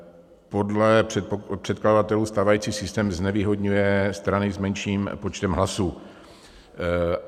Podle předkladatelů stávající systém znevýhodňuje strany s menším počtem hlasů.